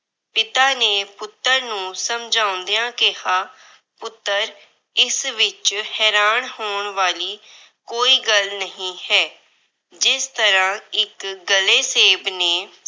ਪਿਤਾ ਨੇ ਪੁੱਤਰ ਨੂੰ ਸਮਝਾਉਂਦਿਆਂ ਕਿਹਾ ਪੁੱਤਰ ਇਸ ਵਿੱਚ ਹੈਰਾਨ ਹੋਣ ਵਾਲੀ ਕੋਈ ਗੱਲ ਨਹੀਂ ਹੈ। ਜਿਸ ਤਰ੍ਹਾਂ ਇੱਕ ਗਲੇ ਸੇਬ ਨੇ